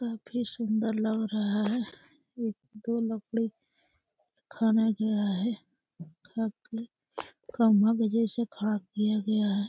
काफी सुंदर लग रहा है। एक दो लकड़ी खाना गया है। खा के खंभा के जैसे खड़ा किया गया है।